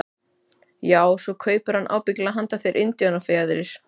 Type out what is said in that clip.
Já, svo kaupir hann ábyggilega handa þér indíánafjaðrir.